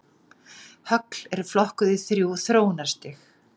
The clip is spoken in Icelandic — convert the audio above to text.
Högl eru flokkuð í þrjú þróunarstig.